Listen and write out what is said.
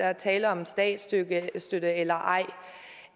er tale om statsstøtte eller ej